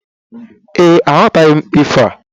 Ee, aghọtaghi m ifo a.